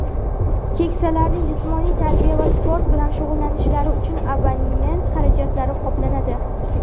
keksalarning jismoniy tarbiya va sport bilan shug‘ullanishlari uchun abonement xarajatlari qoplanadi;.